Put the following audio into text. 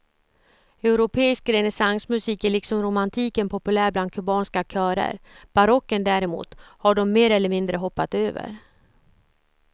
Europeisk renässansmusik är liksom romantiken populär bland kubanska körer, barocken däremot har de mer eller mindre hoppat över.